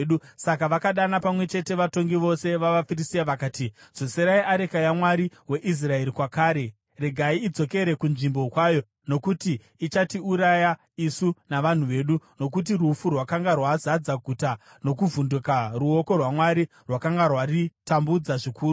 Saka vakadana pamwe chete vatongi vose vavaFiristia vakati, “Dzoserai areka yaMwari weIsraeri kwakare, regai idzokere kunzvimbo kwayo, nokuti ichatiuraya isu navanhu vedu.” Nokuti rufu rwakanga rwazadza guta nokuvhunduka; ruoko rwaMwari rwakanga rwaritambudza zvikuru.